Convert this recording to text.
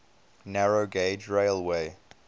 narrow gauge railway